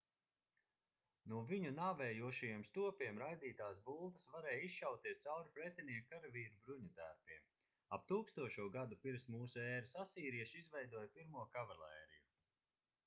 no viņu nāvējošajiem stopiem raidītās bultas varēja izšauties cauri pretinieku karavīru bruņutērpiem ap 1000. gadu p.m.ē. asīrieši izveidoja pirmo kavalēriju